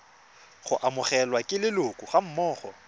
go amogelwa ke leloko gammogo